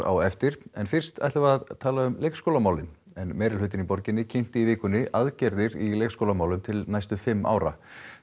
á eftir en fyrst ætlum við að tala um leikskólamálin en meirihlutinn í borginni kynnti í vikunni aðgerðir í leikskólamálum til næstu fimm ára